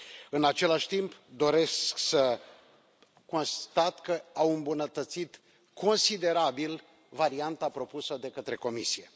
În același timp, doresc să constat că au îmbunătățit considerabil varianta propusă de către Comisie.